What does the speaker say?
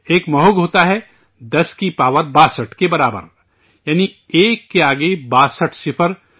ایک مہوگھ ہوتا ہے 10 کی پاور 62 کے برابر، یعنی، ایک کے آگے 62 صفر